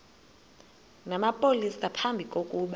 namapolisa phambi kokuba